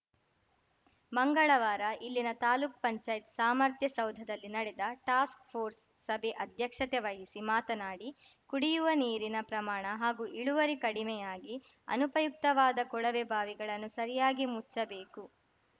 ಮಂಗಳವಾರ ಇಲ್ಲಿನ ತಾಲೂಕ್ಪಂಚಾಯತ್ ಸಾಮರ್ಥ್ಯ ಸೌಧದಲ್ಲಿ ನಡೆದ ಟಾಸ್ಕ್‌ಫೋರ್ಸ್‌ ಸಭೆ ಅಧ್ಯಕ್ಷತೆ ವಹಿಸಿ ಮಾತನಾಡಿ ಕುಡಿಯುವ ನೀರಿನ ಪ್ರಮಾಣ ಹಾಗೂ ಇಳುವರಿ ಕಡಿಮೆಯಾಗಿ ಅನುಪಯುಕ್ತವಾದ ಕೊಳವೆಬಾವಿಗಳನ್ನು ಸರಿಯಾಗಿ ಮುಚ್ಚಬೇಕು